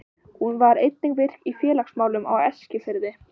Hún var einnig virk í félagsmálum á Eskifirði.